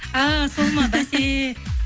а сол ма бәсе